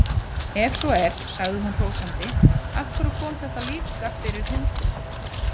Ef svo er, sagði hún sigri hrósandi, af hverju kom þetta þá fyrir hundinn líka?